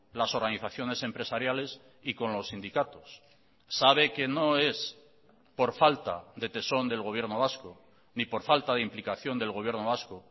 las organizaciones empresariales y con los sindicatos sabe que no es por falta de tesón del gobierno vasco ni por falta de implicación del gobierno vasco